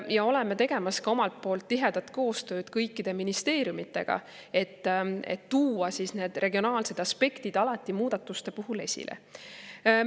Ja oleme tegemas omalt poolt tihedat koostööd kõikide ministeeriumidega, et tuua need regionaalsed aspektid alati muudatuste puhul esile.